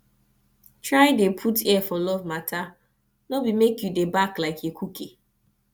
try dey put ear for luv mata no bi mek yu dey bark like ekuke